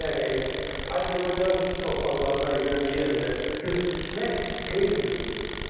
yəni Azərbaycan torpaqlarına yenə də göz dikmək qeyri-mümkündür.